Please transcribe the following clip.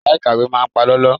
Yàrá ìkàwé máa palọ́lọ́.